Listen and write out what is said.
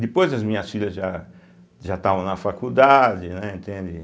Depois as minhas filhas já já estavam na faculdade, né, entende?